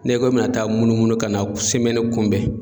N'i ko i bɛna taa munumunu ka na kunbɛn